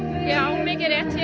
mikið rétt hér